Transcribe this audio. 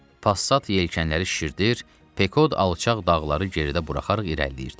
Passat yelkənləri şişirdir, Pekod alçaq dağları geridə buraxaraq irəliləyirdi.